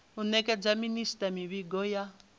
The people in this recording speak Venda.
u nekedza minisita mivhigo ya